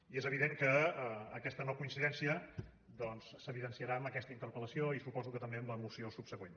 i és evident que aquesta no coincidència doncs s’evidenciarà amb aquesta interpel·lació i suposo que també amb la moció subsegüent